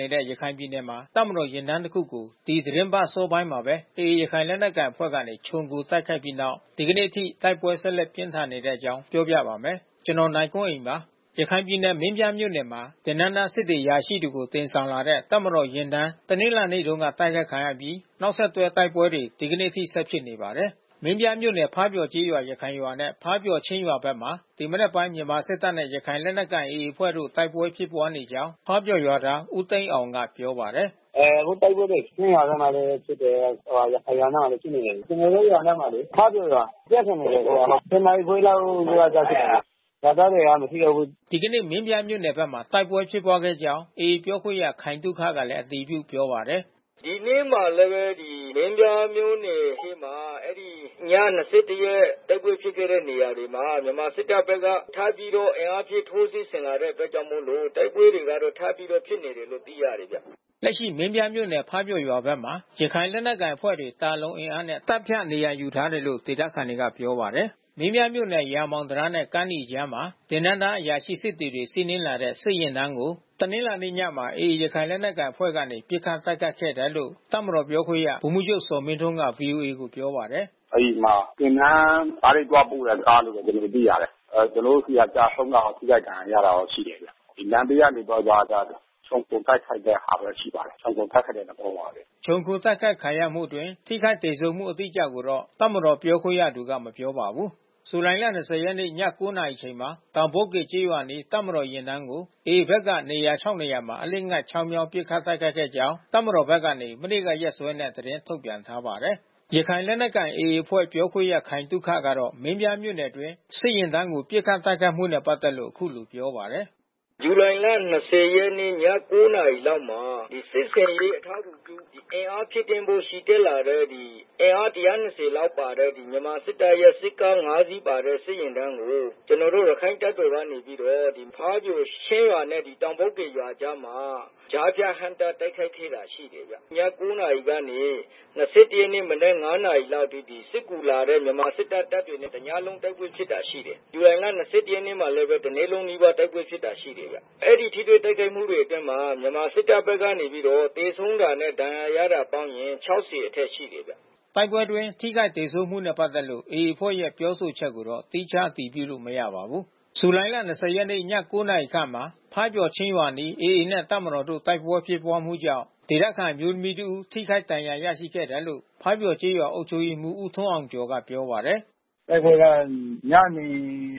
နေတဲ့ ရခိုင်ပြည်နယ်မှာ တပ်မတော်ယာဉ်တန်း တခုကို ဒီသီတင်းပတ်အစောပိုင်းမှာပဲ AA ရခိုင်လက်နက်ကိုင်အဖွဲ့က ခြုံခိုတိုက်ခိုက်ခဲ့ပြီးနောက် ဒီကနေ့အထိ တိုက်ပွဲဆက်လက် ပြင်းထန်နေတဲ့အကြောင်းကို ဗွီအိုအေမြန်မာပိုင်းသတင်းထောက် ကိုနိုင်ကွန်းအိန်က ပြောပြပါမယ်။ ရခိုင်ပြည်နယ် မင်းပြားမြို့နယ်မှာ သင်တန်းသားစစ်သည် အရာရှိတွေကို တင်ဆောင်လာတဲ့ တပ်မတော်ယာဉ်တန်း တနင်္လာနေ့တုန်းက တိုက်ခိုက်ခံရပြီး နောက်ဆက်တွဲ တိုက်ပွဲတွေ ဒီနေ့အထိ ဆက်ဖြစ်နေပါတယ်။ မင်းပြားမြို့နယ် ဖားပျော်ကျေးရွာ ရခိုင်ရွာနဲ့ ဖားပျော်ချင်းရွာဘက်မှာ ဒီမနက်ပိုင်း မြန်မာစစ်တပ်နဲ့ ရခိုင်လက်နက်ကိုင် AA အဖွဲ့တို့ တိုက်ပွဲဖြစ်ပွါးနေကြောင်း ဖားပျော်ရွာသား ဦးသိန်းအောင်ကပြောပါတယ်။ “အခုတိုက်ပွဲတွေ ချင်းရွာအနားမှာလည်း ဖြစ်တယ်၊ ရခိုင်ရွာအနားမှာလည်း ဖြစ်နေတယ်။ ကျနော်တို့ ရွာအနားမှာလေ၊ ဖားပျော်ရွာ။ ပြင်းထန်နေတယ်အခုက။ ၁၀ နာရီခွဲလောက်က စဖြစ်တာ။ ရွာသားတွေက မရှိတော့ဘူး။” ဒီကနေ့ မင်းပြားမြို့နယ်ဘက်တိုက်ပွဲ ဖြစ်ပွားကြောင်း AA ပြောခွင့်ရခိုင်သုခက အတည်ပြုပြောပါတယ်။ “ဒီနေ့မှာလည်းပဲ မင်းပြားမြို့နယ်ထဲမှာ အဲဒီ ည ၂၁ ရက် တိုက်ပွဲဖြစ်ခဲ့တဲ့နေရာတွေမှာ မြန်မာစစ်တပ်ဘက်က ထပ်ပြီးတော့ အင်အားဖြည့်ထိုးစစ်ဆင်လာတဲ့အတွက်ကြောင့်မို့လို့ တိုက်ပွဲတော့ ထပ်ပြီးတော့ဖြစ်နေတယ်လို့ သိရတယ်ဗျ။” လက်ရှိမင်းပြားမြို့နယ် ဖားပျော်ရွာဘက်မှာ ရခိုင်လက်နက်ကိုင်အဖွဲ့တွေ သာလွန်အင်အားနဲ့ တပ်ဖြန့်နေရာယူ ထားတယ်လို့ ဒေသခံတွေက ဆိုပါတယ်။ မင်းပြားမြို့နယ် ရာမောင်တံတားနဲ့ ကမ်းနီကြားမှာ သင်တန်းသား အရာရှိ၊ စစ်သည်တွေ စီးနင်းလာတဲ့ စစ်ယာဉ်တန်းကို တနင်္လာနေ့ညမှာ AA ရခိုင်လက်နက်ကိုင်အဖွဲ့ကနေ ပစ်ခတ်တိုက်ခိုက်ခဲ့တယ်လို့ တပ်မတော်ပြောခွင့်ရ ဗိုလ်မှူးချုပ် ဇော်မင်းထွန်းက ဗွီအိုအေကိုပြောပါတယ်။ “အဲဒီမှာ သင်တန်းသား သွားပို့တဲ့ ကားလို့တော့ ကျနော်တို့ သိရတယ်။ ကျနော်တို့ဆီက ကျဆုံးတာ ထိခိုက်ဒဏ်ရာရတာရှိတယ်လို့ သိရတယ်။ လမ်းဘေးကနေပြီးတော့ ခြုံခိုတိုက်ခိုက်တဲ့ဟာပဲ ရှိပါတယ်။ ခြုံခိုတိုက်ခိုက်တဲ့ သဘောပါပဲ။” ခြုံခို တိုက်ခိုက်ခံရမှုအတွင်း ထိခိုက်သေဆုံးမှု အတိအကျကိုတော့ တပ်မတော် ပြောခွင့်ရသူက မပြောပါဘူး။ ဇူလိုင်လ ၂၀ ရက်နေ့ ည ၉ နာရီအချိန်မှာ တောင်ပုတ်ကေကျေးရွာအနီး တပ်မတော်ယဉ်တန်းကို AA ဘက်က နေရာ ခြောက် နေရာမှာ အလစ်အငိုက် ချောင်းမြောင်း ပစ်ခတ်တိုက်ခိုက်ခဲ့ကြောင်း တပ်မတော်ဘက်က မနေ့ကရက်စွဲနဲ့ သတင်းထုတ်ပြန်ထားပါတယ်။ ရခိုင်လက်နက်ကိုင် AA အဖွဲ့ပြောခွင့်ရ ခိုင်သုခကတော့ မင်းပြားမြို့နယ်အတွင်း စစ်ယာဉ်တန်းကိုပစ်ခတ်တိုက်ခိုက်မှုနဲ့ ပတ်သက်လို့ အခုလိုပြောပါတယ်။ “ဇူလိုင်လ ၂၀ ရက်နေ့ ည ၉ နာရီလောက်မှာ စစ်ဆင်ရေးအထောက်ကူပြု အင်အားဖြည့်တင်းဖို့ ချီတက်လာတဲ့ အင်အား ၁၂၀ လောက်ပါတဲ့ မြန်မာစစ်တပ်ရဲ့ စစ်ကား ၅ စီးပါတဲ့စစ်ယာဉ်တန်းကို ကျနော်တို့ ရခိုင့်တပ်တော်က နေပြီးတော့ ဖားပျော်ချင်းရွာနဲ့ တောင်ပုတ်ကေကြားမှာ ကြားဖြတ်ဟန့်တားတိုက်ခိုက်ခဲ့တာ ရှိတယ်ဗျ။ ည ၉ နာရီကနေ ၂၁ ရက်နေ့ မနက် ၅ နာရီအထိ စစ်ကူလာတဲ့ မြန်မာစစ်တပ်၊ တပ်တွေနဲ့ တညလုံးတိုက်ပွဲဖြစ်တာ ရှိတယ်။ ဇူလိုင်လ ၂၁ ရက်နေ့မှာလည်း တနေ့လုံးနီးပါး တိုက်ပွဲဖြစ်တာရှိတယ်။ အဲဒီထိတွေ့တိုက်ခိုက်မှုတွေအတွင်းမှာ မြန်မာစစ်တပ်က နေပြီးတော့ သေဆုံးတာနဲ့ ဒဏ်ရာရတာပေါင်းရင် ၆၀ အထက်ရှိတယ်ဗျ။” တိုက်ပွဲတွေအတွင်း ထိခိုက်သေဆုံးမှုနဲ့ ပတ်သက်လို့ AA အဖွဲ့ရဲ့ ပြောဆိုချက်ကိုတော့ သီးခြားအတည်ပြုလို့ မရပါဘူး။ ဇူလိုင်လ ၂၀ ရက်နေ့၊ ည ၉ နာရီခန့်မှာ ဖားပျော်(ချင်း)ရွာအနီး AA နဲ့ တပ်မတော်တို့ တိုက်ပွဲ ဖြစ်ပွားမှုကြောင့် ဒေသခံအမျိုးသမီးတဦး ထိခိုက်ဒဏ်ရာ ရရှိခဲ့တယ်လို့ ဖားပျော်ကျေးရွာအုပ်ချုပ်ရေးမှူး ဦးထွန်းအောင်ကျော် ကပြောပါတယ်။ “တိုက်ပွဲက ညနေ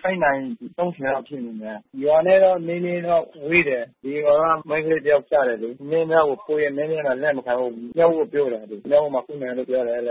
၈ နာရီ ၃၀ လောက်ဖြစ်မယ် ထင်တယ်။ ရွာနဲ့တာ့ နည်းနည်းဝေးတယ်။ ဒီရွာက မိန်းကလေးတယောက် ကျတယ်လေ။ မင်းပြားကို ပို့တယ်၊ မင်းပြားက လက်မခံဘူး။ မြောက်ဦးကို ပို့တယ်။ မြောက်ဦးမှာ ကုမယ်တဲ့။ လက်န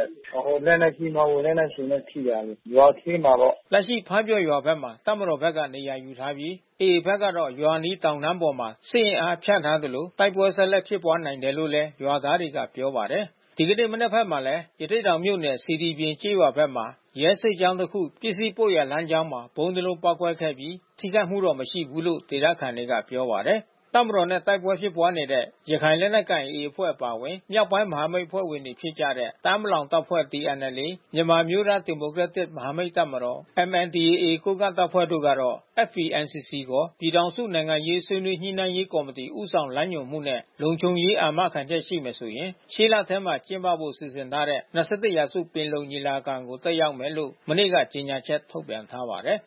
က်ကြီး မဟုတ်ဘူး လက်နက်ရှည်နဲ့ထိတာ ရွာထဲမှာပေါ့။” လက်ရှိ ဖားပျော်ရွာဘက်မှာ တပ်မတော်ဘက်က နေရာယူထားပြီး AA ဘက်ကတော့ ရွာအနီးတောင်တန်းတွေပေါ်မှာ စစ်အင်အားဖြန့်ထားလို့ တိုက်ပွဲဆက်လက်ဖြစ်ပွားနိုင်တယ်လို့လည်း ရွာသားတွေကပြောပါတယ်။ ဒီကနေ့ မနက်ဘက်မှာလည်း ရသေ့တောင်မြို့နယ် စေတီပြင် ကျေးရွာဘက်မှာ ရဲစစ်ကြောင်းတခု ပစ္စည်းပို့ရာလမ်းကြောင်း ဗုံးတလုံးပေါက်ကွဲခဲ့ပြီး ထိခိုက်မှု မရှိဘူးလို့ ဒေသခံတွေကပြောပါတယ်။ တပ်မတော်နဲ့ တိုက်ပွဲဖြစ်ပွားနေတဲ့ ရခိုင်လက်နက်ကိုင် AA အဖွဲ့အပါအဝင် မြောက်ပိုင်းမဟာမိတ်အဖွဲ့ဝင်တွေ ဖြစ်ကြတဲ့ တအာင်း ပလောင်တပ်ဖွဲ့TNLA၊ မဟာမိတ်တပ်မတော် MNDAA (ကိုးကန့်တပ်ဖွဲ့) တို့ကတော့ FPNCC ခေါ် ပြည်ထောင်စု နိုင်ငံရေးဆွေးနွေးညှိနှိုင်းရေးကော်မတီ ဦးဆောင်လမ်းညွှန်မှုနဲ့ လုံခြုံရေး အာမခံချက်ရှိမယ်ဆိုရင် ရှေ့လထဲ ကျင်းပဖို့ စီစဉ်ထားတဲ့ ၂၁ ရာစု ပင်လုံညီလာခံကို တက်ရောက်မယ်လို့ မနေ့က ကြေညာချက်ထုတ်ပြန်ထားပါတယ်